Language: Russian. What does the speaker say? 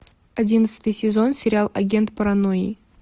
одиннадцатый сезон сериал агент паранойи